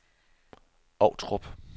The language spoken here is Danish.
Ovtrup